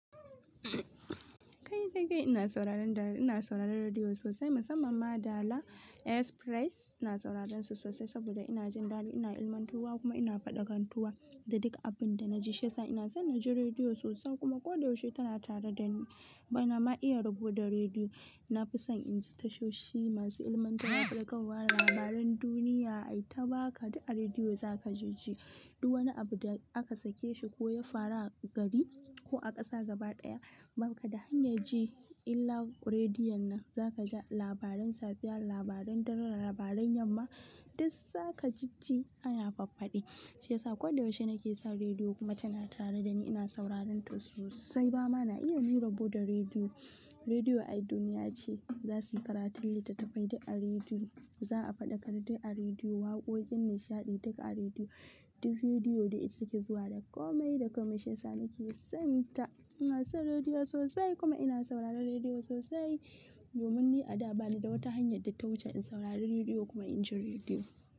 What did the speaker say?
Kai kai ina sauraron da, ina sauraron rediyo sosai musamman ma Dala Express. Ina sauraron su sosai saboda ina jin dadi, ina ilmantuwa kuma ina faɗakantuwa da duka abin da na ji. Shiyasa ina son na ji rediyo sosai kuma koda yaushe tana tare da ni. Ba na ma iya rabo da rediyo. Na fi son inji tashoshi masu ilmantarwa, faɗakarwa, labaran duniya. Ai ta baka duk a rediyo za ka ji shi. Duk wani abu da aka sake shi ko ya faru a gari ko a ƙasa gaba ɗaya, baka da hanya ji illa rediyon nan. Za ka ji labaran safiya, labaran dare, labaran yamma, duk za ka ji ji. Ana faffaɗi, shiyasa koda yaushe nake san rediyo kuma tana tare da ni. Ina sauraron ta sosai. Ba ma na iya ni rabo da rediyo. Rediyo ai duniya ce. Za su yi karatun littattafai duk a rediyo. Za a faɗakar duk a rediyo, waƙoƙin nishaɗi duka a rediyo. Duk rediyo de ita ta ke zuwa da komai da komai, shiyasa nake son ta. Ina son rediyo sosai kuma ina sauraron rediyo sosai. Domin ni a da ba ni da wata hanya da ta wuce in saurari rediyo kuma inji rediyo.